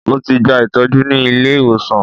Mo ti gba ìtọ́jú ní ilé-ìwòsàn